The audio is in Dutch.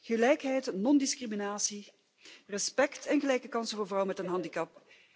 Gelijkheid, non discriminatie, respect en gelijke kansen voor vrouwen met een handicap.